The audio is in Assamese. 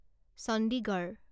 চণ্ডীগড়